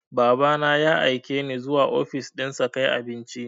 Baba na ya aike ni zuwa ofis ɗinsa kai abinci.